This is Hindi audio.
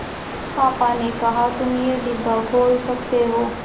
पापा ने कहा तुम ये डिब्बा खोल सकते हो